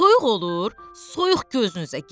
Soyuq olur, soyuq gözünüzə girsin.